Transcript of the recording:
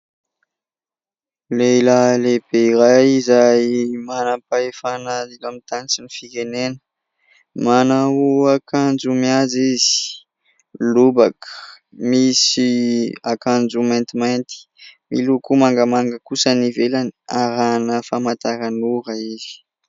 Lehilahy lehibe iray izay manam-pahefana eto amin'ny tany sy ny firenena. Manao akanjo mihaja izy, lobaka, misy akanjo maintimainty miloko mangamanga kosa ny ivelany arahana famantaranora izy.